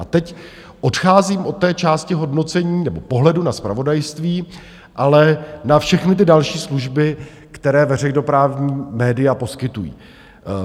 A teď odcházím od té části hodnocení nebo pohledu na zpravodajství, ale na všechny ty další služby, které veřejnoprávní média poskytují.